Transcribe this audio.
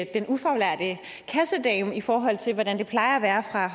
den ufaglærte kassedame i forhold til hvordan det plejer at være fra